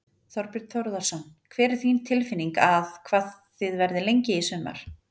Þorbjörn Þórðarson: Hver er þín tilfinning að, hvað þið verðið lengi í sumar?